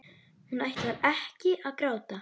Hún ætlar ekki að gráta.